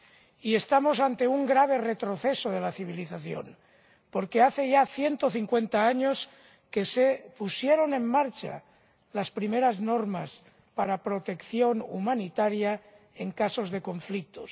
Y estamos ante un grave retroceso de la civilización, porque hace ya 150 años que se pusieron en marcha las primeras normas para protección humanitaria en casos de conflictos.